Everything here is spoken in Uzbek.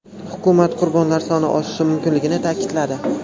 Hukumat qurbonlar soni oshishi mumkinligini ta’kidladi.